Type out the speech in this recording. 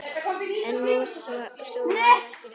En sú varð ekki raunin.